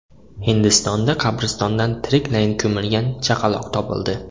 Hindistonda qabristondan tiriklayin ko‘milgan chaqaloq topildi .